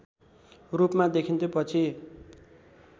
रूपमा देखिन्थ्यो पछि